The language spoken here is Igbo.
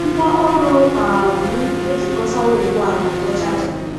Ngwaọrụ um m ejikọtawo ugbu a na ọdụ chaja.